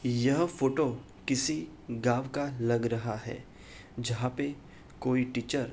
यह फोटो किसी गांव का लग रहा है जहाँ पे कोई टीचर --